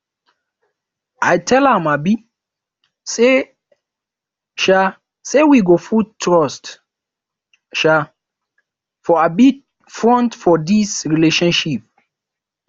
i tell am um sey um sey we go put trust um for um front for dis relationship